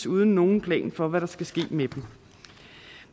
uden nogen plan for hvad der skal ske med dem